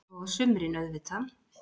Og á sumrin, auðvitað.